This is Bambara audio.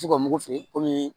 F'u ka mugu feere kɔmi